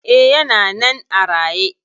E, yana nan a raye.